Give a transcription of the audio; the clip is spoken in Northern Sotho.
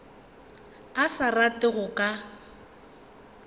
a sa rate go ka